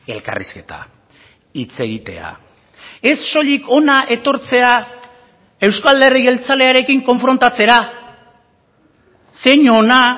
elkarrizketa hitz egitea ez soilik hona etortzea euzko alderdi jeltzalearekin konfrontatzera zein ona